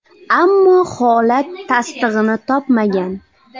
Ammo holat tasdig‘ini topmagan.